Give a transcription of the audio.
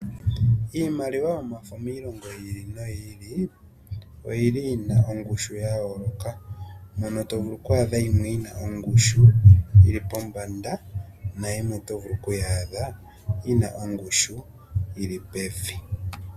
Iimaliwa yomafo miilongo yi ili no yi ili ,oyili yi na ongushu ya yooloka .Yimwe oyi na ongushi yili pombanda nayimwe oyi na ongushu yili pevi.